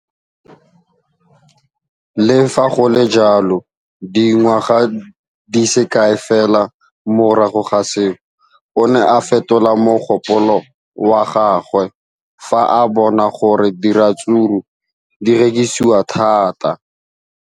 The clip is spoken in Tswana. Le fa go le jalo, dingwaga di se kae fela morago ga seno, o ne a fetola mogopolo wa gagwe fa a bona gore diratsuru di rekisiwa thata.